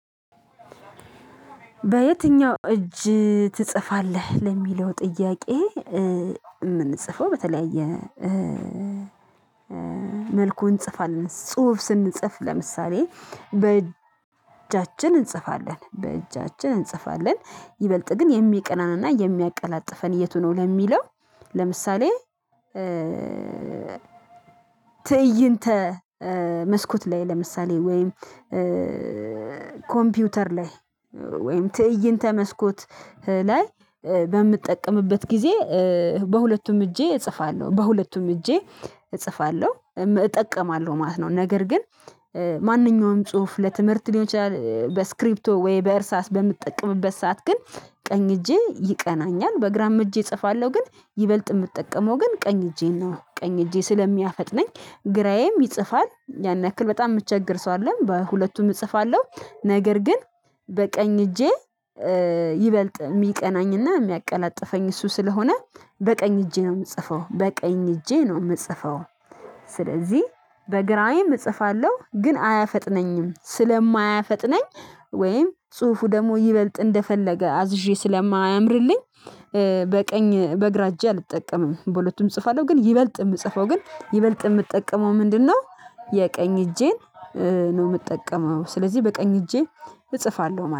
በየትኛው እጅ ትጽፋለህ? ለሚለው ጥያቄ እ የምንጽፈው በተለይ የ መልኩ እንጽፋልን ጽሁፍ ስንጽፍ ለምሳሌ በእጃችን እንጽፋለን በእጃችን እንጽፋለን ይበልጥ ግን የሚቀናንና የሚያቀላጥፈን የቱ ነው ለሚለው። ለምሳሌ ትዕይንተ ትዕይንተ መስኮት ላይ ለምሳሌ ወይም ኮምፒውተር ላይ ወይም ትእይንተ መስኮት ላይ በምጠቀምበት ጊዜ በሁለቱም እጄ እጽፋለሁ በሁለቱም እጄ እጽፋለሁ እጠቀማለሁ ማለት ነው። ነገር ግን እ ማንኛውም ጽሁፍ ለትምህርት ሊሆን ይችላል በስክሪፕቶ ወይ በእርሳስ በምጠቀምበት ሰዓት ግን ቀኝ እጄ ይቀናኛል። በግራም እጄ እጽፋለሁ ግን ይበልጥ የምጠቀመው ግን ቀኝ እጄን ነው። ቀኝ እጄ ስለሚያፈጥነኝ ግራዬም ይጽፋል ያን ያክል በጣም የምቸገር ሰው አይደለም በሁለቱም እጽፋለሁ። ነገር ግን በቀኝ እጄ ይበልጥ የሚቀናኝና የሚያቀላጥፈኝ እሱ ስለሆነ በቀኝ እጄ ነው የምጽፈው በቀኝ እጄ ነው የምጽፈው። ስለዚህ በግራዬም እጽፋለሁ ግን አያፈጥነኝም ስለማያፈጥነኝ ወይም ጽሁፉ ደግሞ ይበልጥ እንደፈለገ አዝዤ ስለማያምርልኝ። በቀኝ በግራ እጄ አልጠቀምም በሁለቱም እጽፋለሁ ግን ይበልጥ የምጽፈው ግን ይበልጥ የምጠቀመው ምንድነው? የቀኝ እጄን ነው የምጠቀመው ስለዚህ በቀኝ እጄ እጽፋለሁ ማለት ነው